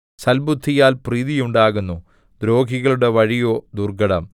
സൽബുദ്ധിയാൽ പ്രീതിയുണ്ടാകുന്നു ദ്രോഹിയുടെ വഴിയോ ദുർഘടം